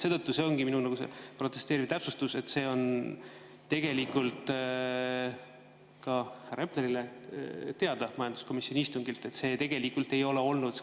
See ongi minu protesteeriv täpsustus, et see on ka härra Eplerile teada majanduskomisjoni istungilt, et see tegelikult nii ei olnud.